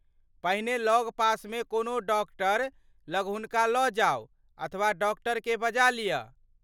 पहिने लगपासमे कोनो डॉक्टर लग हुनका लऽ जाउ अथवा डॉक्टरेकेँ बजा लिय।